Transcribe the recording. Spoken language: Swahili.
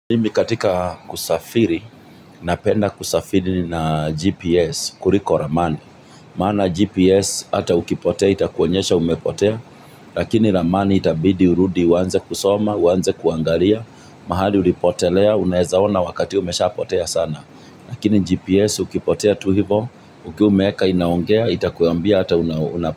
Mimi katika kusafiri, napenda kusafiri na GPS, kuliko ramani. Maana GPS hata ukipotea itakuonyesha umepotea, lakini ramani itabidi urudi uanze kusoma, uanze kuangalia, mahali ulipotelea, unaeza ona wakati umeshapotea sana. Lakini GPS ukipotea tu hivo, ukiwa umeweka inaongea, itakuambia hata unapotea.